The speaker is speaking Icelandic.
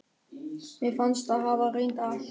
Mér fannst ég hafa reynt allt.